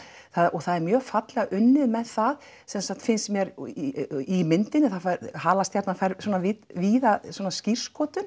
og það er mjög fallega unnið með það sem sagt finnst mér í myndinni og það fær halastjarnan fær svona víða skírskotun